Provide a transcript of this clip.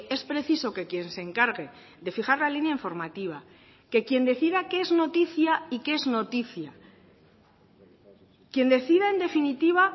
es preciso que quien se encargue de fijar la línea informativa que quien decida qué es noticia y qué es noticia quién decida en definitiva